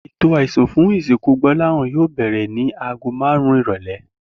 Ètò àisùn fún ìsìnkú Gbó̩láhàn yóò bè̩rè̩ ni aago márùn-ún ìrò̩lé̩